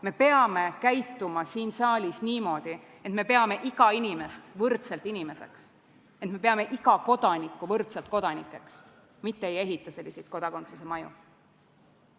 Me peame käituma siin saalis niimoodi, et me peame iga inimest võrdselt inimeseks, et me peame iga kodanikku võrdselt kodanikuks, mitte ei ehita selliseid kodakondsuse maju.